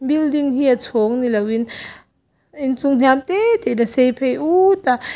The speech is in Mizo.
building hi a chhawng ni loin inchung hniam te te in a sei phei put a.